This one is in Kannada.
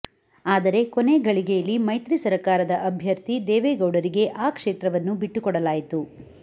ಆದರೆ ಕೊನೆ ಘಳಿಗೆಯಲ್ಲಿ ಮೈತ್ರಿ ಸರಕಾರದ ಅಭ್ಯರ್ಥಿ ದೇವೇಗೌಡರಿಗೆ ಆ ಕ್ಷೇತ್ರವನ್ನು ಬಿಟ್ಟು ಕೊಡಲಾಯಿತು